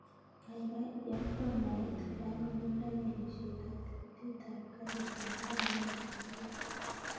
Gaigai iyakwan naet olanyorundai alishet ab tikitit ab karitab maat newendi nairobi